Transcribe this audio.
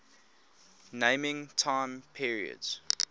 naming time periods